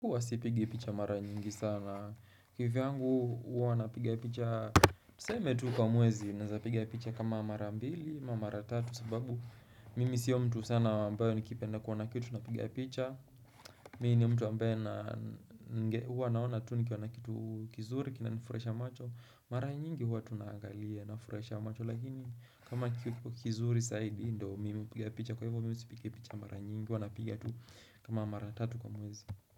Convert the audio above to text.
Huwa sipigi picha mara nyingi sana. Kivyangu huwa napiga picha. Tuseme tu kwa mwezi. Naweza piga picha kama mara mbili, ama mara tatu. Sababu mimi siyo mtu sana ambaye nikipenda kuona kitu. Unapiga picha. Mimini mtu ambaye. Huwa naona tu nikiwa na kitu kizuri. Kinanifurahisha macho. Mara nyingi huwa tunaangalia nafurahisha macho. Lakini kama kitu kizuri zaidi. Ndo mimi piga picha. Kwa hivyo mimi sipigi picha mara nyingi. Huwa napiga tu kama mara tatu kwa mwezi.